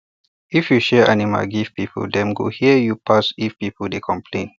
if you share animal give people dem go hear you pass if people dey complain